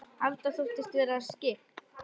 Alda þóttist aldrei vera skyggn.